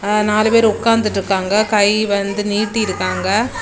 ங்க நாலு பேரு உக்காந்துட்ருக்காங்க கை வந்து நீட்டிருக்காங்க.